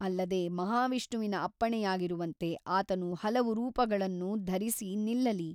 ಅಲ್ಲದೆ ಮಹಾವಿಷ್ಣುವಿನ ಅಪ್ಪಣೆಯಾಗಿರುವಂತೆ ಆತನು ಹಲವು ರೂಪಗಳನ್ನು ಧರಿಸಿ ನಿಲ್ಲಲಿ.